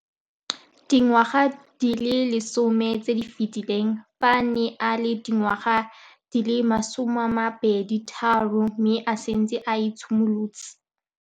Dingwaga di le 10 tse di fetileng, fa a ne a le dingwaga di le 23 mme a setse a itshimoletse.